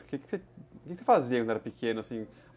O que você fazia quando era pequeno, assim?